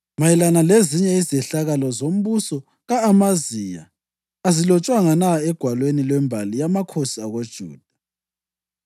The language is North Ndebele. Mayelana lezinye izehlakalo zombuso ka-Amaziya azilotshwanga na egwalweni lwembali yamakhosi akoJuda?